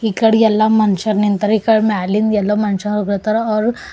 ಇಕಡಿ ಎಲ್ಲಾ ಮನಸ್ಯಾರ ನಿಂತಾರ ಇಕ ಮ್ಯಾಲಿಂಧ ಎಲ್ಲಾ ಮನಷ ಹೋಗತಾರ ಅವ್ರು--